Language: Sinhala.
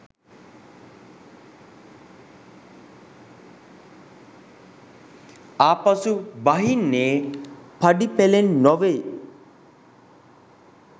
ආපසු බහින්නේ පඩි පෙළෙන් නොවෙයි.